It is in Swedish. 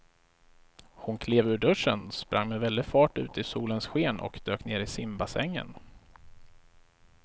Hon klev ur duschen, sprang med väldig fart ut i solens sken och dök ner i simbassängen.